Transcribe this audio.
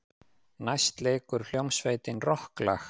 Næst leikur hljómsveitin rokklag.